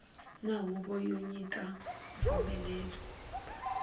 na huvo yo nyika mpfumelelo